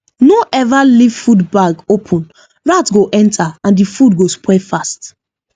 no ever leave food bag open rat go enter and the food go spoil fast